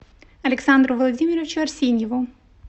александру владимировичу арсеньеву